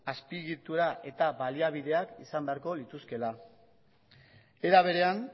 azpiegitura eta baliabideak izan beharko lituzkeela era berean